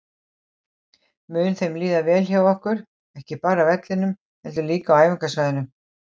Mun þeim líða vel hjá okkur, ekki bara á vellinum heldur líka á æfingasvæðinu?